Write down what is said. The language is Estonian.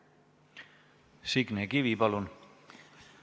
Signe Kivi, palun!